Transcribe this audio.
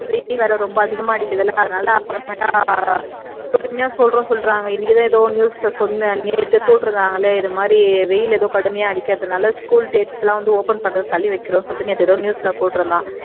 வெயில் வேற ரொம்ப அதிகமா அடிக்குதில்ல அதனால அப்புறமா பொறுமையா சொல்றோன்னு சொல்றாங்க இன்னைக்குதான் எதோ ஒரு news ல சொன்னான் நேத்து போட்றுந்தாங்களே இந்தமாதிரி வெயில் எதோ கடுமையா அடிக்கிறதனால school dates எல்லாம் open பண்றது தள்ளி வைக்கிறோம்னு எதோ news ல போட்ருந்தான்